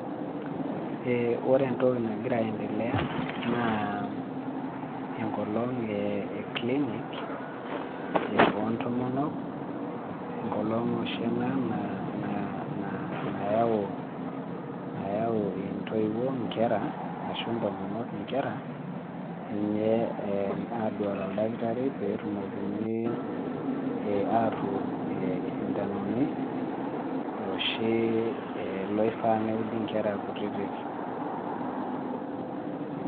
Ore entoki nagira aendelea, naa enkolong e clinic, ontomonok, enkolong oshi ena nayau intoiwuo inkera ashu intomonok inkera, enye aduare oldakitari petumokini atuud isindanoni, oshi loifaa neudi nkera kutitik.